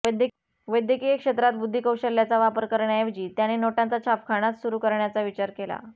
वैद्यकीय क्षेत्रात बुद्धिकौशल्याचा वापर करण्याऐवजी त्याने नोटांचा छापखानाच सुरू करण्याचा विचार केला